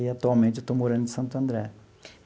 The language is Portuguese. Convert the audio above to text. E atualmente eu estou morando em Santo André.